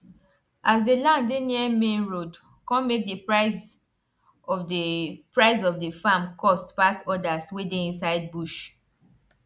as the land dey near main road con make the price of the price of the farm cost pass others wey dey inside bush